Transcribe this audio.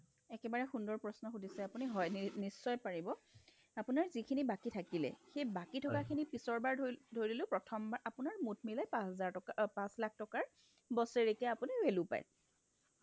একেবাৰে সুন্দৰ প্ৰশ্ন সুধিছে আপুনি হয় নিশ্চয় পাৰিব আপোনাৰ যিখিনি বাকী থাকিলে সেইবাকী থকাখিনি পিছৰবাৰ ধৰি ধৰিলো প্ৰথমবাৰ আপোনাৰ মুঠ মিলাই পাচ হাজাৰ পাচ লাখ টকাৰ বছেৰিকীয়া আপুনি value পায়